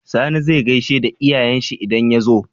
Sani zai gaishe da iyayen shi idan ya zo?